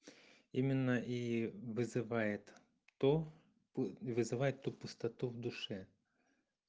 именно и вызывает то вызывает ту пустоту в душе